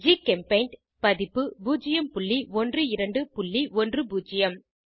ஜிகெம்பெய்ண்ட் பதிப்பு 01210